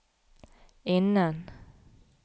innen